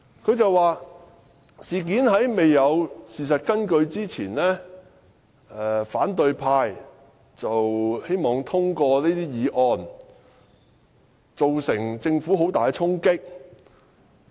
她說："事件在未有事實根據之前，反對派希望通過這些議案，對政府造成很大衝擊......